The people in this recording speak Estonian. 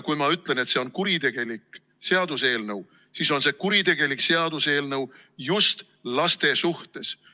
Kui ma ütlen, et see on kuritegelik seaduseelnõu, siis on see kuritegelik seaduseelnõu just laste suhtes.